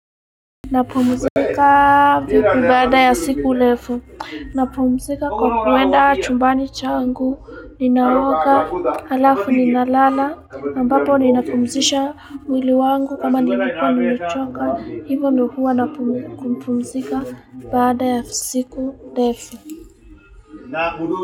Napumzika baada ya siku lefu. Napumzika kwa kuenda chumbani changu, ninaoga halafu ninalala, ambapo ninapumzisha mwili wangu kama nini kwa nimechoka, hivo ndo huwa napumzika baada ya siku ndefu.